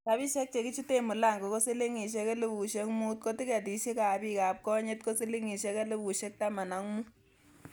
Rabishek che kichuten mulango ko silingisiek elfusiek mut ko tiketisiek ab bik ab konyit ko silingisiek elfusiek tama ak mut.